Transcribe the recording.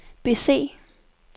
bese